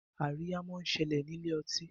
Àríyá món ṣẹlẹ ní Ilé-ọtí.